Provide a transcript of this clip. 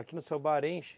Aqui no seu bar enche?